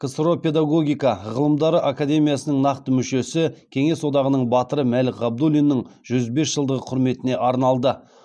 ксро педагогика ғылымдары академиясының нақты мүшесі кеңес одағының батыры мәлік ғабдуллиннің жүз бес жылдығы құрметіне арналды